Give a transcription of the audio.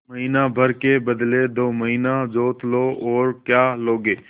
महीना भर के बदले दो महीना जोत लो और क्या लोगे